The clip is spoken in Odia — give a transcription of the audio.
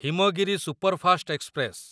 Himgiri superfast express